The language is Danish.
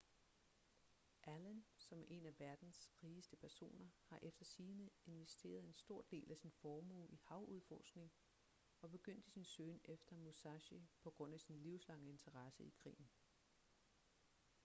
allen som er en af verdens rigeste personer har efter sigende investeret en stor del af sin formue i havudforskning og begyndte sin søgen efter musashi på grund af sin livslange interesse i krigen